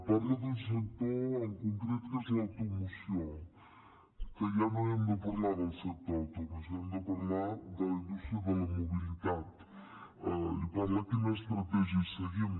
parla d’un sector en concret que és l’automoció que ja no hem de parlar del sector de l’automoció hem de parlar de la indústria de la mobilitat i parla de quina estratègia seguim